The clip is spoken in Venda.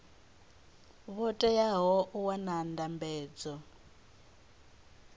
vho teaho u wana ndambedzo